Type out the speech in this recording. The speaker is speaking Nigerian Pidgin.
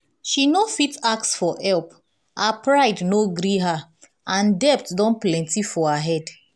she no fit ask for help her pride no gree her and debt don plenti for her head